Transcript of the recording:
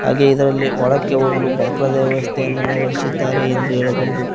ಹಾಗೆ ಇದರಲ್ಲಿ ಹೊಳಕ್ಕೆ ಹೋಗಲು ಬಕ್ರ ದೇವಸ್ತೆಯನ್ನು ಅಳವಡಿಸಿದ್ದಾರೆ ಎಂದು ಹೇಳಬಹುದು.